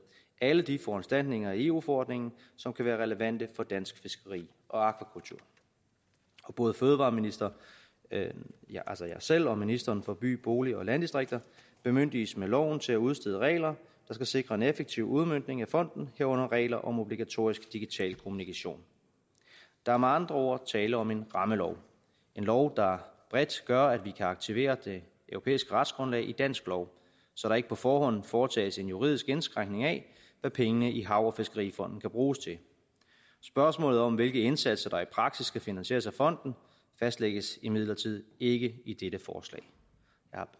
alle de foranstaltninger i eu forordningen som kan være relevante for dansk fiskeri og akvakultur både fødevareministeren altså jeg selv og ministeren for by bolig og landdistrikter bemyndiges med loven til at udstede regler der skal sikre en effektiv udmøntning af fonden herunder regler om obligatorisk digital kommunikation der er med andre ord tale om en rammelov en lov der bredt gør at vi kan aktivere det europæiske retsgrundlag i dansk lov så der ikke på forhånd foretages en juridisk indskrænkning af hvad pengene i hav og fiskerifonden kan bruges til spørgsmålet om hvilke indsatser der i praksis skal finansieres af fonden fastlægges imidlertid ikke i dette forslag